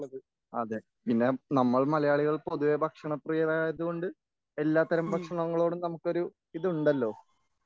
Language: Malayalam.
അതെ പിന്നെ നമ്മൾ മലയാളികൾ പൊതുവെ ഭക്ഷണപ്രിയരായതുകൊണ്ട് എല്ലാത്തരം ഭക്ഷണങ്ങളോടും നമുക്കൊരു ഇത് ഉണ്ടല്ലോ